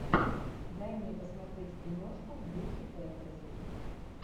дай мне посмотреть киношку в духе фэнтези